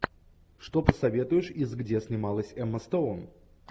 что посоветуешь из где снималась эмма стоун